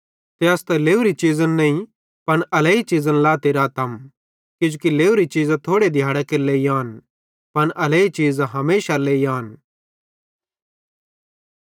ते अस त लेवरी चीज़न नईं पन अलैई चीज़न लाते रातम किजोकि लेवरी चीज़ां थोड़े दिहाड़ां केरे लेइ आन पन अलैई चीज़ां हमेशारे लेई आन